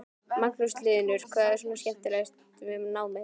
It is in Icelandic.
Magnús Hlynur: Hvað er svona skemmtilegast við námið?